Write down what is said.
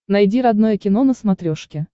найди родное кино на смотрешке